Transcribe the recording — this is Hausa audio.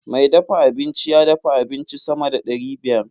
Mai dafa abinci ya dafa abinci sama da ɗari biyar.